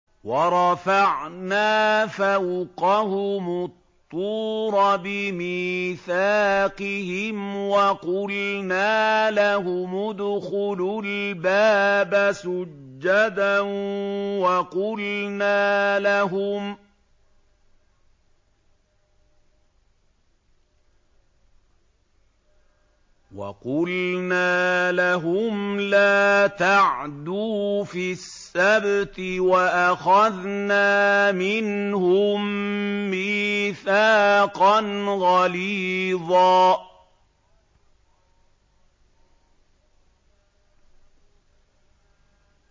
وَرَفَعْنَا فَوْقَهُمُ الطُّورَ بِمِيثَاقِهِمْ وَقُلْنَا لَهُمُ ادْخُلُوا الْبَابَ سُجَّدًا وَقُلْنَا لَهُمْ لَا تَعْدُوا فِي السَّبْتِ وَأَخَذْنَا مِنْهُم مِّيثَاقًا غَلِيظًا